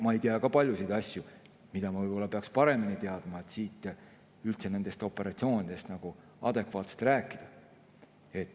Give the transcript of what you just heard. Ma ei tea ka paljusid asju, mida ma võib-olla peaks paremini teadma, et siin üldse nendest operatsioonidest adekvaatselt rääkida.